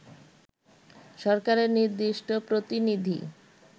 সরকারের নির্দিষ্ট প্রতিনিধি